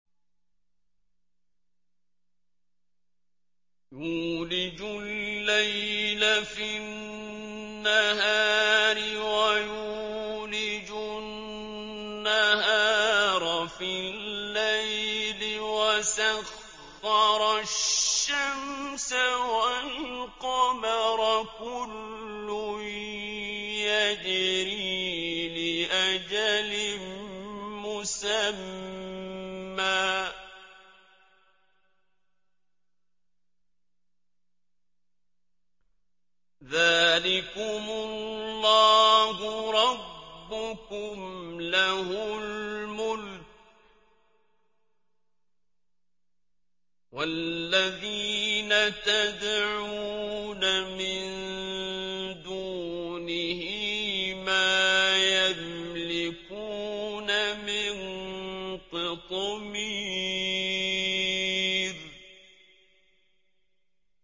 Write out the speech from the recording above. يُولِجُ اللَّيْلَ فِي النَّهَارِ وَيُولِجُ النَّهَارَ فِي اللَّيْلِ وَسَخَّرَ الشَّمْسَ وَالْقَمَرَ كُلٌّ يَجْرِي لِأَجَلٍ مُّسَمًّى ۚ ذَٰلِكُمُ اللَّهُ رَبُّكُمْ لَهُ الْمُلْكُ ۚ وَالَّذِينَ تَدْعُونَ مِن دُونِهِ مَا يَمْلِكُونَ مِن قِطْمِيرٍ